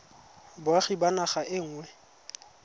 boagi ba naga e nngwe